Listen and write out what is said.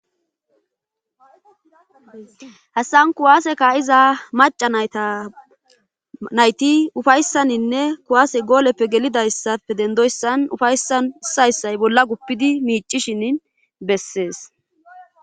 hassan kuwaase kaa7iza maca nayta nayti ufayssaninne kuwaase gooleppe gelidayssafe dendoyssan ufaysan issay issay bolla guppidi miicishini bessees.